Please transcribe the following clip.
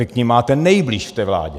Vy k nim máte nejblíž v té vládě.